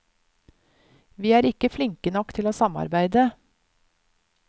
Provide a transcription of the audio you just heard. Vi er ikke flinke nok til å samarbeide.